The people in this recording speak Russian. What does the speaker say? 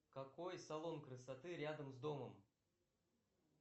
какой салон красоты рядом с домом